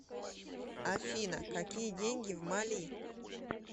афина какие деньги в мали